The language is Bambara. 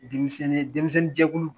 Denmisɛnnin ye denmisɛnninjɛkulu